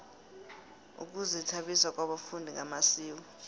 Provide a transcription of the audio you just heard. ukuzithabisa kwabafundi ngamasiko